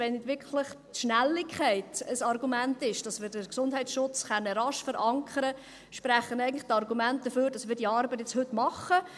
Wenn die Schnelligkeit ein Argument ist, damit wir den Gesundheitsschutz rasch verankern können, dann sprechen die Argumente eigentlich dafür, dass wir diese Arbeit heute machen.